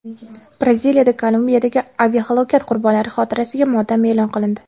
Braziliyada Kolumbiyadagi aviahalokat qurbonlari xotirasiga motam e’lon qilindi.